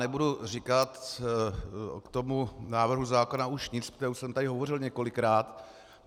Nebudu říkat k tomu návrhu zákona už nic, protože už jsem tady hovořil několikrát.